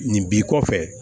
Nin b'i kɔfɛ